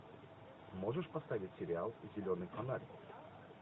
можешь поставить сериал зеленый фонарь